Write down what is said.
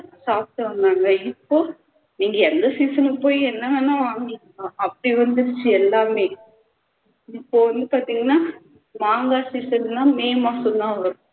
சாப்பிட்டு வந்தாங்க இப்போ இனி எந்த season க்கு போய் என்னவேணா வாங்கிக்கலாம் அப்படி வந்திடுச்சு எல்லாமே இப்போ என்ன பாத்திங்கண்ணா மாங்காய் season லாம் may மாசம்தான் வரும்